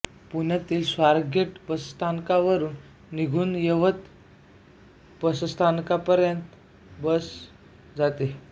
पुण्यातील स्वारगेट बसस्थानकावरून निघून यवत बसस्थानकापर्यंत बस जाते